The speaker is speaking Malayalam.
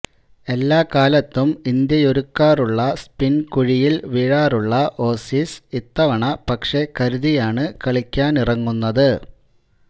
എല്ലാ കാലത്തും ഇന്ത്യയൊരുക്കാറുള്ള സ്പിന് കുഴിയില് വീഴാറുള്ള ഓസീസ് ഇത്തവണ പക്ഷേ കരുതിയാണു കളിക്കാനിറങ്ങുന്നത്